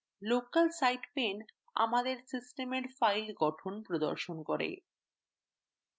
local site pane আমাদের সিস্টেমের file গঠন প্রদর্শন করে